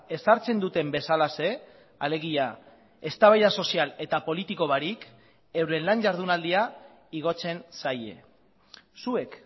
ezartzen duten bezalaxe alegia eztabaida sozial eta politiko barik euren lan jardunaldia igotzen zaie zuek